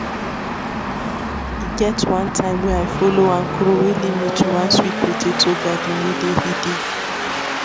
e get one time wey i follow one crow wey lea me to one sweet potato garden wey dey hidden